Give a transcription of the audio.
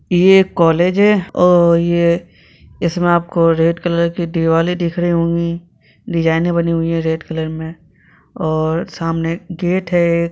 ये एक कॉलेज है और ये इसमें आपको रेड कलर कि दीवाले दिख रही होंगी डिजाइने बनी हुई रेड कलर में और सामने गेट है।